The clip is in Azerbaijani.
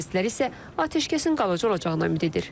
Bəziləri isə atəşkəsin qalacağı olacağına ümid edir.